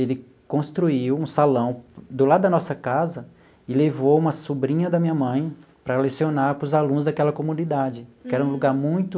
Ele construiu um salão do lado da nossa casa e levou uma sobrinha da minha mãe para lecionar para os alunos daquela comunidade, que era um lugar muito...